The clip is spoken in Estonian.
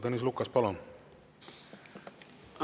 Tõnis Lukas, palun!